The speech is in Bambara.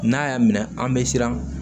N'a y'a minɛ an bɛ siran